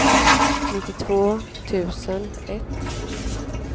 nittiotvå tusen ett